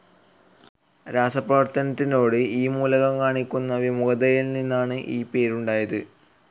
രാസപ്രവർത്തനത്തിനോട് ഈ മൂലകം കാണിക്കുന്ന വിമുഖതയിൽ നിന്നാണ് ഈ പേരുണ്ടായത്.